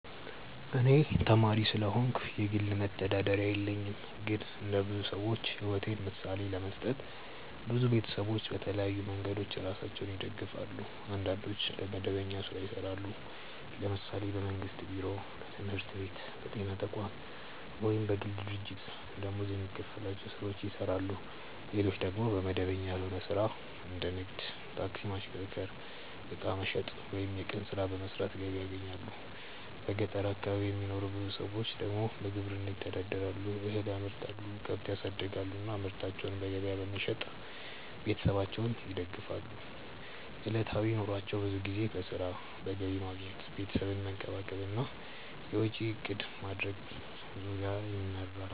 እኔ ተማሪ ስለሆንኩ የግል መተዳደሪያ የለኝም። ግን እንደ ብዙ ሰዎች ሕይወት ምሳሌ ለመስጠት፣ ብዙ ቤተሰቦች በተለያዩ መንገዶች ራሳቸውን ይደግፋሉ። አንዳንዶች በመደበኛ ሥራ ይሰራሉ፤ ለምሳሌ በመንግስት ቢሮ፣ በትምህርት ቤት፣ በጤና ተቋም ወይም በግል ድርጅት ደመወዝ የሚከፈላቸው ሥራዎችን ይሰራሉ። ሌሎች ደግሞ በመደበኛ ያልሆነ ሥራ እንደ ንግድ፣ ታክሲ ማሽከርከር፣ ዕቃ መሸጥ ወይም የቀን ሥራ በመስራት ገቢ ያገኛሉ። በገጠር አካባቢ የሚኖሩ ብዙ ሰዎች ደግሞ በግብርና ይተዳደራሉ፤ እህል ያመርታሉ፣ ከብት ያሳድጋሉ እና ምርታቸውን በገበያ በመሸጥ ቤተሰባቸውን ይደግፋሉ። ዕለታዊ ኑሯቸው ብዙ ጊዜ በሥራ፣ በገቢ ማግኘት፣ ቤተሰብን መንከባከብ እና የወጪ እቅድ ማድረግ ዙሪያ ይመራል።